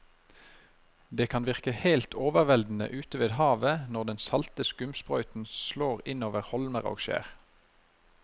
Det kan virke helt overveldende ute ved havet når den salte skumsprøyten slår innover holmer og skjær.